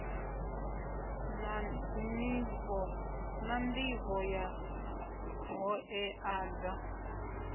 na nḓivho ya ṱhoḓea dza